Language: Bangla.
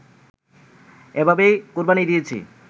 এভাবেই কোরবানি দিয়েছি